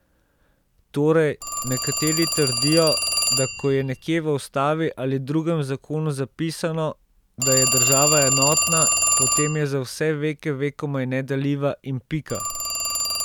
Torej, nekateri trdijo, da ko je nekje v Ustavi ali drugem zakonu zapisano, da je država enotna, potem je za vse veke vekomaj nedeljiva in pika.